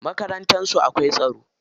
Makarantar su akwai tsaro.